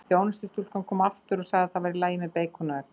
Þjónustustúlkan kom aftur og sagði það væri í lagi með beikon og egg.